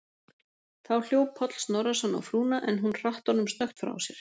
Þá hljóp Páll Snorrason á frúna, en hún hratt honum snöggt frá sér.